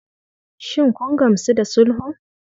Shin kun gamsu da sulhun?